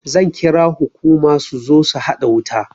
Zan kira hukuma su zo su haɗa wuta